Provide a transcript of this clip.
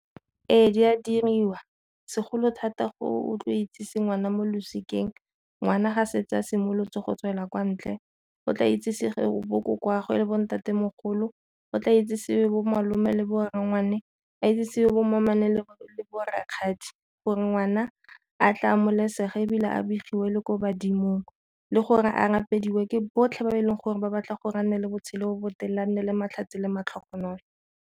Ee, di a diriwa segolo thata go otlo itsise ngwana mo losikeng, ngwana ga setse a simolotse go tswela kwa ntle o tla itsesewe bokoko 'agwe le bo ntatemogolo o tla itsesewe bomalome le borangwane, a itsesiwe bommamane le bo rakgadi gore ngwana a tla amogelesega ebile a begiwe le ko badimong, le gore a ke botlhe ba e leng gore ba batla gore a nne le botshelo bo botelele a nne le matlhatsi le matlhogonolo.